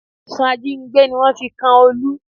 Ẹ̀sùn ajínigbé ni wọ́n fi kan Olú